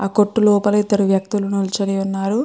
ఆ కొట్టు లోపల ఇద్దరు వ్యక్తులు నిల్చోని ఉన్నారు.